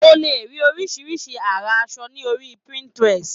O le rí oríṣiríṣi àrà aṣọ lórí Pinterest.